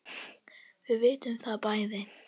Við vitum það bæði.